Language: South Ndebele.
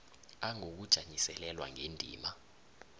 a ngokujanyiselelwa ngendima